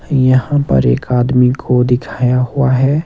यहाँ पर एक आदमी को दिखाया हुआ है।